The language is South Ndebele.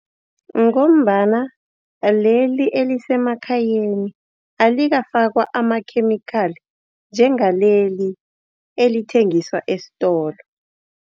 Ngombana leli elisemakhayeni alikafakwa amakhemikhali njengaleli elithengiswa esitolo.